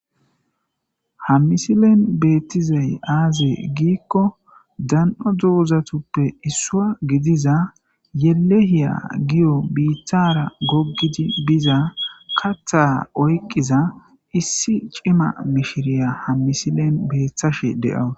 Ha misilen beettizey aaze giikko dan7o duuzatuppe issua gidiza yelehiya giyo biithara goggidi biza katha oyqqiza issi cima mishiriya ham misilen beeththashe de7awu.